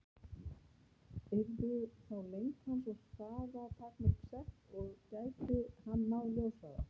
Yrðu þá lengd hans og hraða takmörk sett, og gæti hann náð ljóshraða?